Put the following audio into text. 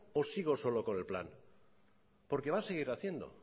o sigo solo con el plan porque va a seguir haciendo